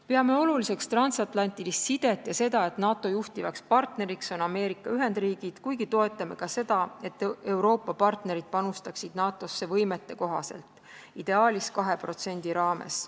Peame oluliseks transatlantilist sidet ja seda, et NATO juhtiv partner on Ameerika Ühendriigid, kuigi toetame ka seda, et Euroopa partnerid panustaksid NATO-sse võimetekohaselt, ideaalis 2% raames.